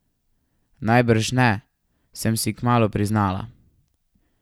Najbrž ne, sem si kmalu priznala.